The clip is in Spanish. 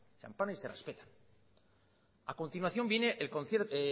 se amparan y se respetan a continuación viene